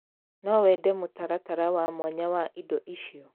No wende mũtaratara wa mwanya wa indo icio?